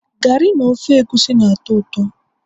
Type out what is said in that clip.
garri na ofe egusi na-atọ ụtọ